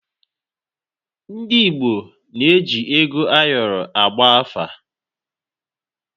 Ndị Igbo na-eji ego ayọrọ agba afa.